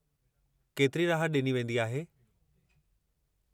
केतिरी राहत ॾिनी वेंदी आहे?